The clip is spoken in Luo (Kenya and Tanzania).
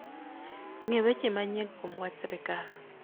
ng'e weche manyien kuom wach sirkal